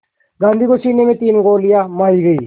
गांधी को सीने में तीन गोलियां मारी गईं